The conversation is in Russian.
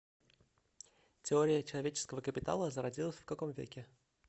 теория человеческого капитала зародилась в каком веке